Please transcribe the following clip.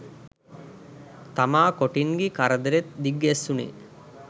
තමා කොටින්ගෙ කරදරෙත් දිග්ගැස්සුනේ